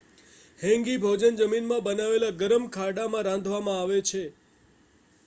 hangi ભોજન જમીનમાં બનાવેલા ગરમ ખાડામાં રાંધવામાં આવે છે